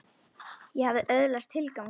Ég hafði öðlast tilgang þarna.